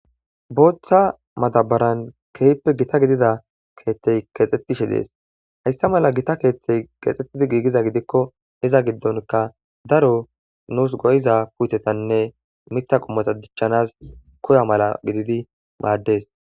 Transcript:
Booththa madabaran keyppe gita gidida keeththey keexxettishe dees hayssa mala gita keeththey keexxettidi giigiza gidikko iza giddonka daro nuus goyiza puutetanne mitha qomota dichchanas koya mala gididi maaddes